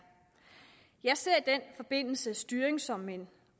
jeg ser i den forbindelse styring som en